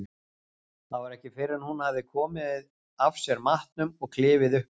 Það var ekki fyrr en hún hafði komið af sér matnum og klifið upp á